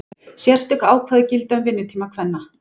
Sérstök ákvæði gilda um vinnutíma kvenna.